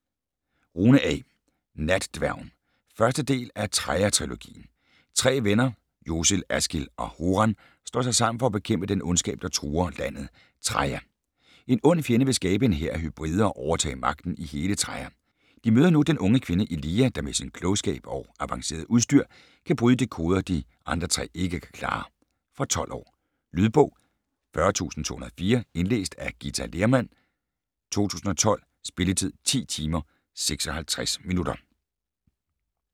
Rune, A.: Natdværgen 1. del af Traia trilogien. Tre venner, Josol, Askil og Horan slår sig sammen for at bekæmpe den ondskab, der truer landet Traia. En ond fjende vil skabe en hær af hybrider og overtage magten i hele Traia. De møder nu den unge kvinde Eliya, der med sin klogskab og avancerede udstyr kan bryde de koder, de andre tre ikke kan klare. Fra 12 år. Lydbog 40204 Indlæst af Githa Lehrmann, 2012. Spilletid: 10 timer, 56 minutter.